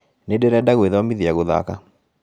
Nĩndĩrenda gwĩthomithia gũthaka